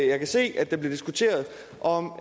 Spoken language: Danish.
jeg kan se at der bliver diskuteret om